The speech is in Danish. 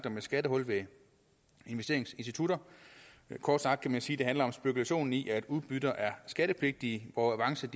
om et skattehul ved investeringsinstitutter kort sagt kan man sige det handler om spekulation i at udbytter er skattepligtige hvor avancer